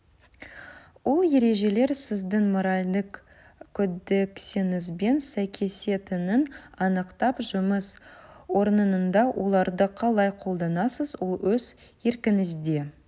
ол ережелер сіздің моральдық кодексіңізбен сәйкесетінін анықтап жұмыс орнында оларды қалай қолданасыз ол өз еркіңізде